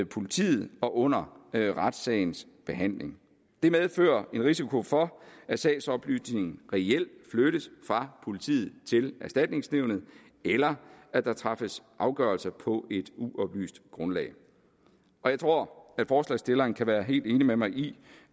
politiet og under retssagens behandling det medfører en risiko for at sagsoplysningen reelt flyttes fra politiet til erstatningsnævnet eller at der træffes afgørelse på et uoplyst grundlag jeg tror at forslagsstillerne kan være helt enige med mig i